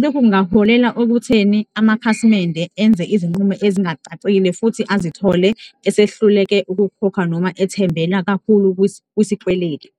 Lokhu kungaholela okutheni amakhasimende enze izinqumo ezingacacile futhi azithole esehluleke ukukhokha noma ethembela kakhulu kusikweletu.